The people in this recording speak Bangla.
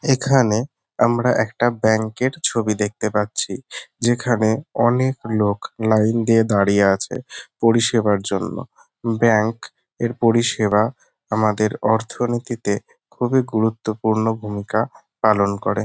এখানে আমরা একটা ব্যাংক এর ছবি দেখতে পাচ্ছি। যেখানে অনেক লোক লাইন দিয়ে দাড়িয়ে আছে পরিষেবার জন্য। ব্যাংক এর পরিষেবা আমাদের অর্থনীতিতে খুবই গুরুত্বপূর্ণ ভুমিকা পালন করে।